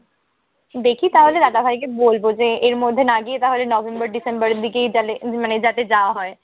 দেখি তাহলে দাদা ভাইকে বলব যে, এর মধ্যে না গিয়ে তাহলে নভেম্বর ডিসেম্বরের দিকেই তাহলে মানে যাতে যাওয়া হয়।